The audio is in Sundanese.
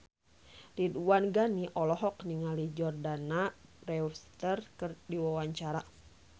Ridwan Ghani olohok ningali Jordana Brewster keur diwawancara